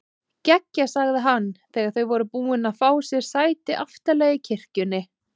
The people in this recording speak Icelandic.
Geggjað sagði hann þegar þau voru búin að fá sér sæti aftarlega í kirkjunni.